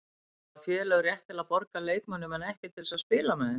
Hafa félög rétt til að borga leikmönnum en ekki til að spila þeim?